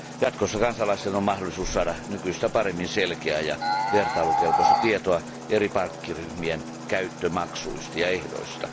Jatkossa kansalaisten on mahdollisuus saada nykyistä paremmin selkeää ja vertailukelpoista tietoa eri pankkiryhmien käyttömaksuista ja ehdoista.